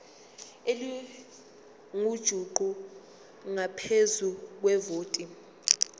elingujuqu ngaphezu kwevoti